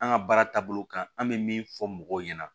An ka baara taabolo kan an bɛ min fɔ mɔgɔw ɲɛna